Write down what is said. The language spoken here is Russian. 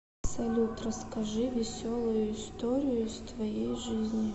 салют расскажи веселую историю из твоей жизни